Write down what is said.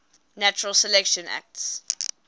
natural selection acts